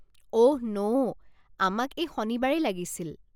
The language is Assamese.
অহ ন', আমাক এই শনিবাৰেই লাগিছিল।